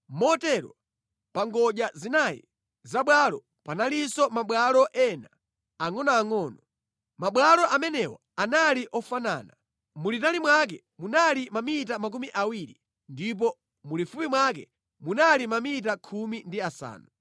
Motero pa ngodya zinayi za bwalo panalinso mabwalo ena angʼonoangʼono. Mabwalo amenewa anali ofanana. Mulitali mwake munali mamita makumi awiri ndipo mulifupi mwake munali mamita khumi ndi asanu.